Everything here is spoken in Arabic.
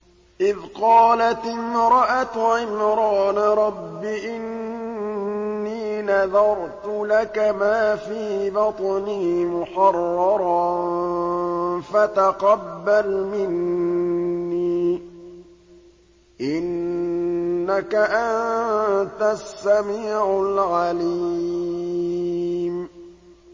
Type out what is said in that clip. إِذْ قَالَتِ امْرَأَتُ عِمْرَانَ رَبِّ إِنِّي نَذَرْتُ لَكَ مَا فِي بَطْنِي مُحَرَّرًا فَتَقَبَّلْ مِنِّي ۖ إِنَّكَ أَنتَ السَّمِيعُ الْعَلِيمُ